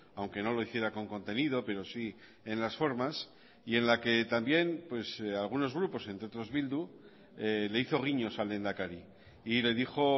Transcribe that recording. aunque no lo hiciera con contenido pero sí en las formas y en la que también algunos grupos entre otros bildu le hizo guiños al lehendakari y le dijo